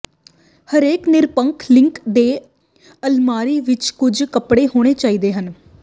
ਹਰੇਕ ਨਿਰਪੱਖ ਲਿੰਗ ਦੇ ਅਲਮਾਰੀ ਵਿੱਚ ਕੁੱਝ ਕੱਪੜੇ ਹੋਣੇ ਚਾਹੀਦੇ ਹਨ